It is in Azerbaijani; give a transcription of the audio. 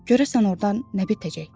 Görəsən ordan nə bitəcək?